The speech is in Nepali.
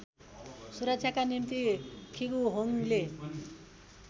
सुरक्षाका निम्ति खिगुहोङले